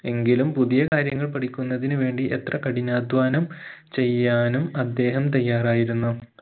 എങ്കിലും പുതിയകാര്യങ്ങൾ പഠിക്കുന്നതിന് വേണ്ടി എത്ര കഠിനാദ്ധ്വാനം ചെയ്യാനും അദ്ദേഹം തയ്യാറായിരുന്നു